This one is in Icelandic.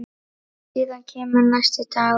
Síðan kemur næsti dagur.